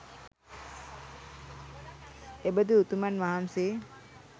එබඳු උතුමන් වහන්සේ